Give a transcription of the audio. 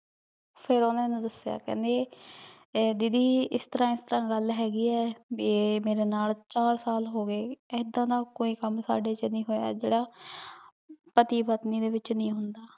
ਫੇਰ ਓਹਨਾਂ ਨੇ ਦਸ੍ਯ ਕੇਹ੍ਨ੍ਡੇ ਦੀਦੀ ਏਸ ਤਰਹ ਏਸ ਤਰਹ ਗਲ ਹੇਗੀ ਆਯ ਭੀ ਆਯ ਮੇਰੇ ਨਾਲ ਚਾਰ ਸਾਲ ਹੋਗੇ ਏਦਾਂ ਦਾ ਕੋਈ ਕਾਮ ਸਾਡੇ ਚ ਨਹੀ ਹੋਯਾ ਜੇਰਾ ਪਤੀ ਪਤਨੀ ਦੇ ਵਿਚ ਨਹੀ ਹੁੰਦਾ